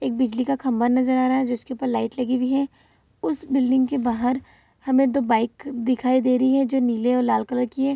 एक बिजली का खंभा नजर आ रहा है जिसके ऊपर लाइट लगी हुई है उस बिल्डिंग के बाहर हमें दो बाइक दिखाई दे रही है जो नीले और लाल कलर की है |